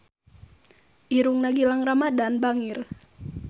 Irungna Gilang Ramadan bangir